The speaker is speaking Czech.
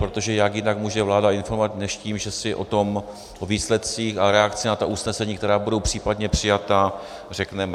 Protože jak jinak může vláda informovat než tím, že si o tom, o výsledcích a reakci na ta usnesení, která budou případně přijata, řekneme?